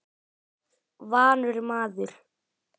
Vanur maður.